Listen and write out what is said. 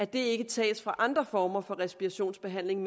det ikke tages fra andre former for respirationsbehandling